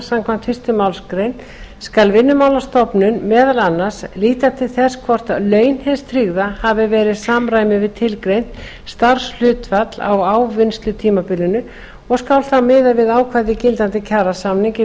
samkvæmt fyrstu málsgrein skal vinnumálastofnun meðal annars líta til þess hvort laun hins tryggða hafi verið í samræmi við tilgreint starfshlutfall á ávinnslutímabilinu og skal þá miða við ákvæði gildandi kjarasamnings í